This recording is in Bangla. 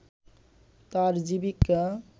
তার জীবিকা